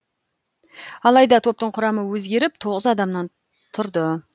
алайда топтың құрамы өзгеріп тоғыз адамнан тұрды